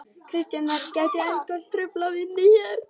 Kristján Már: Gæti eldgos truflað vinnu hér?